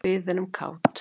Við erum kát.